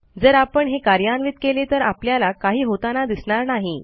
जर आपण हे कार्यान्वित केले तर आपल्याला काही होताना दिसणार नाही